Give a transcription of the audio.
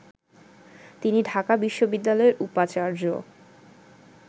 তিনি ঢাকা বিশ্ববিদ্যালয়ের উপাচার্য